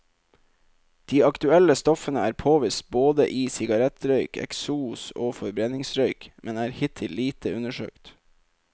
De aktuelle stoffene er påvist både i sigarettrøyk, eksos og forbrenningsrøyk, men er hittil lite undersøkt.